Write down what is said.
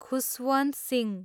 Khushwant Singh